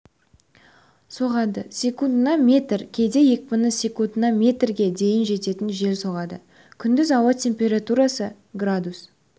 соғады секундына метр кейде екпіні секундына метрге дейін жететін жел соғады күндіз ауа температурасы градус